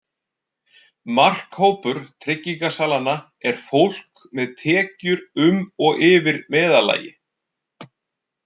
Markhópur tryggingasalanna er fólk með tekjur um og yfir meðallagi.